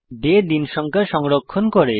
day দিন সংখ্যা সংরক্ষণ করে